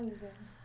Ah, meu Deus!